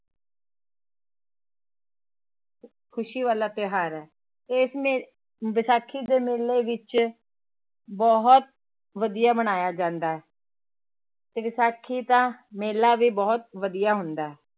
ਖ਼ੁਸ਼ੀ ਵਾਲਾ ਤਿਉਹਾਰ ਹੈ ਇਸ ਮੇ ਵਿਸਾਖੀ ਦੇ ਮੇਲੇ ਵਿੱਚ ਬਹੁਤ ਵਧੀਆ ਮਨਾਇਆ ਜਾਂਦਾ ਹੈ ਤੇ ਵਿਸਾਖੀ ਦਾ ਮੇਲਾ ਵੀ ਬਹੁਤ ਵਧੀਆ ਹੁੰਦਾ ਹੈ।